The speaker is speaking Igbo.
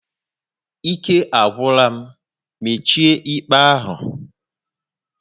Ike agwụla m, mechie íkpè ahụ!